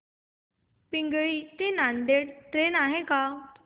पिंगळी ते नांदेड ट्रेन आहे का